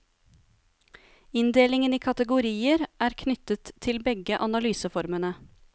Inndelingen i kategorier er knyttet til begge analyseformene.